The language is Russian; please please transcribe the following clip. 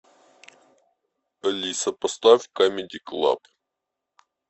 алиса поставь камеди клаб